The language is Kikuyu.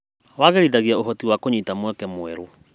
Wagĩrithagia ũhoti wa kũnyita mweke mwerũ.